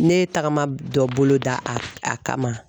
Ne ye tagama dɔ bolo da a a kama